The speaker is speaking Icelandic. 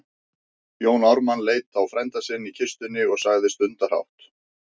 Jón Ármann leit á frænda sinn í kistunni og sagði stundarhátt